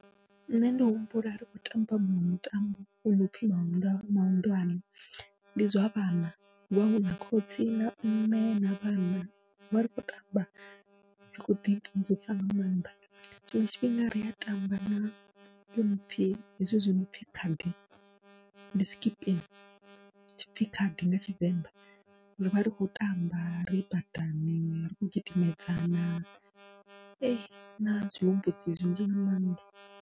Nṋe ndi humbula ri khou tamba muṅwe mutambo u nopfhi mahuḓwa mahuḓwane ndi zwa vhana, hu avha huna khotsi na mme na vhana rivha ri khou tamba ri tshi khou ḓimvumvusa nga maanḓa, tshiṅwe tshifhinga ria tamba na u nopfhi hezwi zwi nopfhi khadi ndi skipping tshipfhi khadi nga tshivenḓa, rivha ri khou tamba ri badani ri kho gidimedzana na huna zwihumbudzi zwinzhi nga maanḓa.